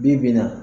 Bi bi in na